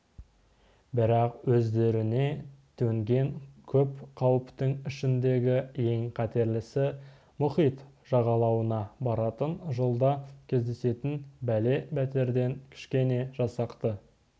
бірақ өздеріне төнген көп қауіптің ішіндегі ең қатерлісі мұхит жағалауына баратын жолда кездесетін бәле-бәтерден кішкене жасақты